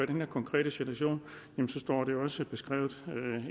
den her konkrete situation står det jo også beskrevet